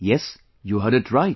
Yes, you heard it right